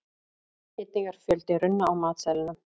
einnig er fjöldi runna á matseðlinum